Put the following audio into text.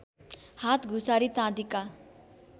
हात घुसारी चाँदीका